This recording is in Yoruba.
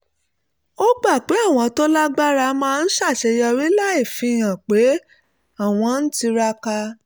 ó gbà pé àwọn tó lágbára máa ń ṣàṣeyọrí láì fihàn pé àwọn ń tiraka